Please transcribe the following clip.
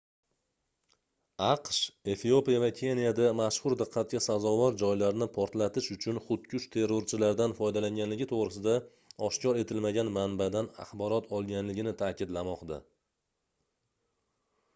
aqsh efiopiya va keniyada mashhur diqqatga sazovor joylarni portlatish uchun xudkush terrorchilardan foydalanganligi toʻgʻrisida oshkor etilmagan manbadan axborot olganligini taʼkidlamoqda